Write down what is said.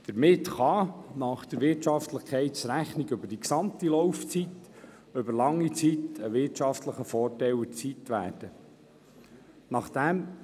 Damit kann – nach der Wirtschaftlichkeitsrechnung über die gesamte Laufzeit – über lange Zeit ein wirtschaftlicher Vorteil erzielt werden.